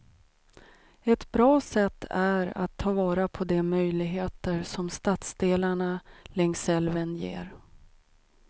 Ett bra sätt är att ta vara på de möjligheter som stadsdelarna längs älven ger.